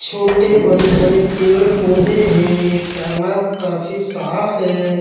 छोटे बड़े-बड़े पेड़-पौधे हैं। ये तालाब काफी साफ़ है।